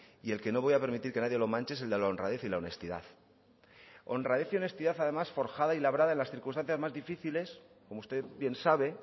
y el que no voy a permitir que nadie lo manche es el de la honradez y la honestidad honradez y honestidad además forjada y labrada en las circunstancias más difíciles como usted bien sabe